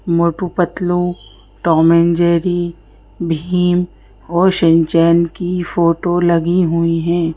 Motu Patlu Tom and Jerry Bheem और Shinchan की photo लगी हुई हैं।